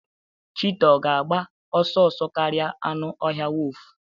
cheetah ọ ga-agba ọsọ ọsọ karịa anụ ọhịa wolf?